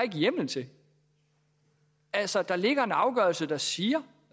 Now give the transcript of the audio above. hjemmel til altså der ligger en afgørelse der siger